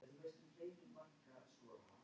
Svo ég augumlíti Bangsa.